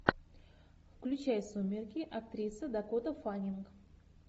включай сумерки актриса дакота фаннинг